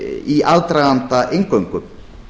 í aðdraganda inngöngu